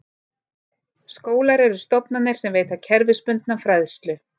Skólar eru stofnanir sem veita kerfisbundna fræðslu.